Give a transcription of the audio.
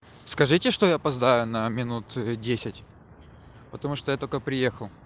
скажите что я опоздаю на минут десять потому что я только приехал